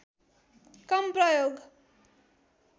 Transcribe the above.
कम प्रयोग